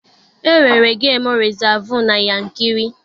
E nwere gemu rịzaavụ na Yankiri.